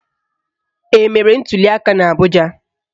Emere ntuliaka n'Abụja?